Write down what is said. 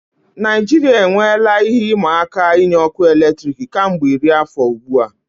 Naijiria enweela ihe ịma aka inye ọkụ eletrik kemgbe iri afọ ugbu a.